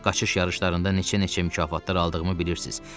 Qaşış yarışlarında neçə-neçə mükafatlar aldığımı bilirsiz?